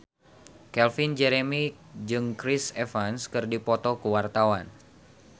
Calvin Jeremy jeung Chris Evans keur dipoto ku wartawan